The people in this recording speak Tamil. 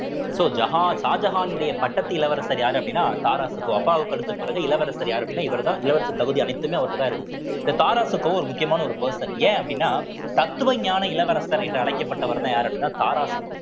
so ஜஹார்~ ஷாஜகானுடைய பட்டத்து இளவரசர் யாரு அப்படின்னா தாராஷிகோ அப்பாவுக்கு அடுத்து பிறகு இளவரசர் யாரு அப்படின்னா இவர்தான் இளவரசர் தகுதி அனைத்துமே அவர்ட்டதான் இருக்குது இந்த தாராஷிகோ ஒரு முக்கியமான ஒரு person ஏன் அப்படின்னா தத்துவஞான இளவரசர் என்று அழைக்கப்பட்டவர்ன்னா யாரு அப்படின்னா தாராஷிகோ